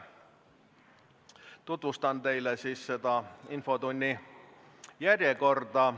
Tutvustan teile infotunni järjekorda.